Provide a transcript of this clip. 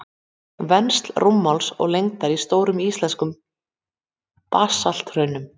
Vensl rúmmáls og lengdar í stórum íslenskum basalthraunum.